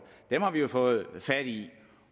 dem har vi jo fået fat i